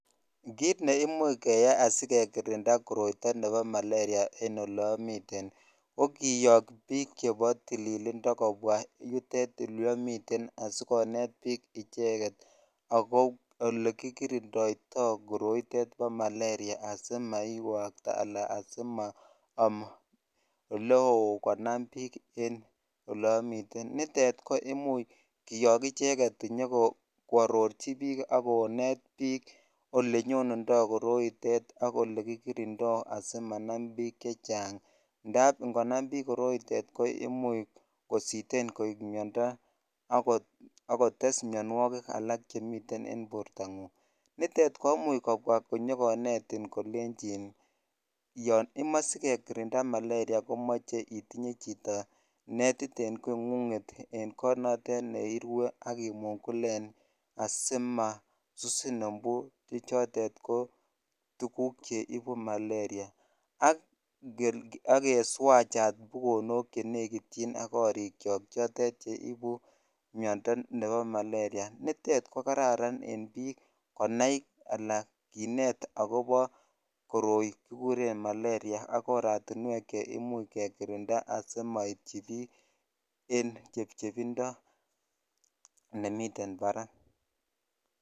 kit neimuch keyai asikekirinda koroito nepo malaria en oleomiten ii kokiyok biik chepo tililindo kobwa yutet yu omiten asikonet bik icheget ako ole kikirindoito koroitet bo malaria ii asimaiwakta anan asimoom eleoo konam biik che eleomitennitet koimuch kiyok icheket konyo koarorchi biik akonet biik ole nyundundo koroitet ak ele kikirindo asimanam biik chechang ndap ngonam biik koroitet koimuch kositen koik miondo akotess mionwokik alak chemiten en bortangung nitet komuch kobwa inyokonetit kolenchin yoon imoe sikekirinda malaria komoche itinye chito netit en kongunget ii en kot notektneirue akimungulen asimasusin mbu chotet ko tuguk cheibu malaria ak keswach chat bukonok chenekityin ak korikiok chotet cheibu miondo nepo malaria nitet kokararan en biik konai anan kinet akobo koroi kikuren malaria akm oratinwek che imuch kekirindaen asimoityi biik en chebchebindo nemiten barak